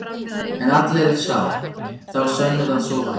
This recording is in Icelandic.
En allir er sá, þá sönnuðu að svo væri.